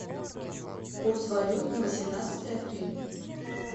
курс валют на восемнадцатое апреля